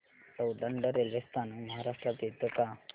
Soundad railway स्थानक महाराष्ट्रात येतं का